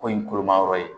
Ko in kolomayɔrɔ ye